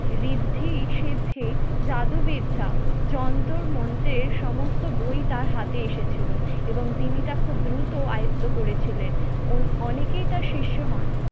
ঋদ্ধি সিদ্ধি জাদু বিদ্যা যন্তর মন্ত্রের সমস্ত বই তার হাতে এসেছিলো এবং তিনি তা খুব দ্রুত আয়ত্ত করে ছিলেন। অনেকেই তার শিষ্য হন